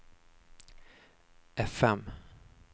fm